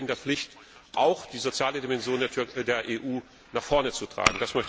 Da stehen wir in der Pflicht, auch die soziale Dimension der EU nach vorne zu tragen.